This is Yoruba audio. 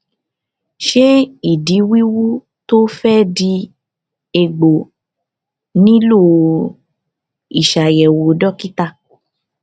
ṣé ìdí wíwú tó fẹ di egbò nílò ìṣàyẹwò dókítà